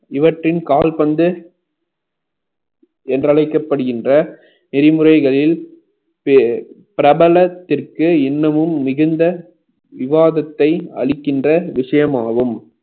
இவற்றின் கால்பந்து என்றழைக்கப்படுகின்ற நெறிமுறைகளில் பிர~ பிரபலத்திற்கு இன்னமும் மிகுந்த விவாதத்தை அளிக்கின்ற விஷயமாகும்